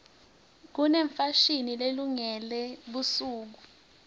kunefashini lelungele busuku